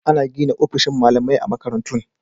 Ana gina ofisoshin malamai a makarantun.